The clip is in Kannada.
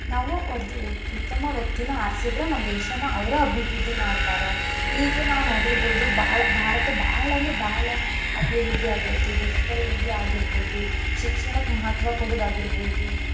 ನಾವು ಉತ್ತಮ ವ್ಯಕ್ತಿನ ಆರಸಿದ್ರ ನಮ್ ದೇಶಾನ ಅವ್ರ ಅಭಿವೃದ್ದಿ ಮಾಡ್ತಾರ, ಈಗ ನಾವ್ ನೋಡಿರ್ಬಹುದು ಭಾರತ ಬಾಳ ಅಂದ್ರ ಬಾಳ ಅಭಿವೃದ್ಧಿ ಆಗೇತಿ digital India ಆಗಿರ್ಬಹುದು, ಶಿಕ್ಷಣಕ್ ಮಹತ್ವ ಕೊಡುದಾಗಿರಬಹುದು.